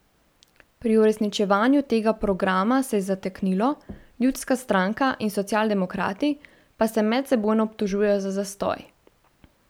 Pri uresničevanju tega programa se je zataknilo, ljudska stranka in socialdemokrati pa se medsebojno obtožujejo za zastoj.